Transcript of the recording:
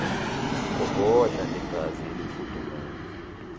gogodla negazi elifudumele